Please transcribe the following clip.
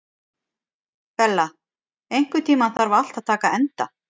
Bella, einhvern tímann þarf allt að taka enda.